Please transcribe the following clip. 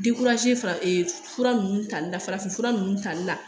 fura nunnu tali la farafinfura nunnu tali la